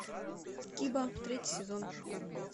киба третий сезон